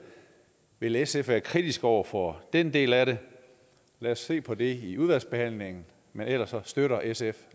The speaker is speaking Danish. vil sf være kritisk over for den del af det lad os se på det i udvalgsbehandlingen men ellers støtter sf